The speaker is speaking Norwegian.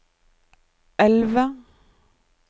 elve